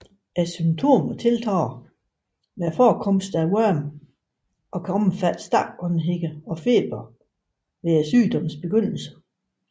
Symptomerne tiltager med forekomsten af orme og kan omfatte stakåndethed og feber ved sygdommens begyndelse